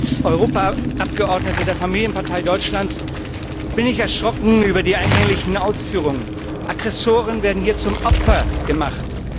Als Europaabgeordneter der Familienpartei Deutschlands bin ich erschrocken über die eingänglichen Ausführungen. Aggressoren werden hier zum Opfer gemacht.